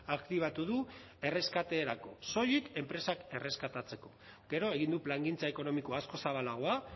aktibatu du erreskaterako soilik enpresak erreskatatzeko gero egin du plangintza ekonomiko askoz zabalagoa